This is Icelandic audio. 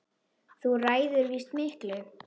Þú ræður víst miklu.